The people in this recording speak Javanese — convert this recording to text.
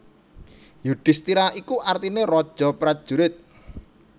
Yudhistira iku artine raja prajurit